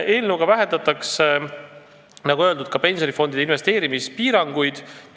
Eelnõuga vähendatakse, nagu öeldud, pensionifondide investeerimispiiranguid.